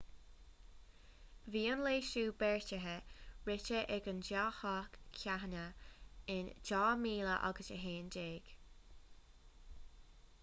bhí an leasú beartaithe rite ag an dá theach cheana in 2011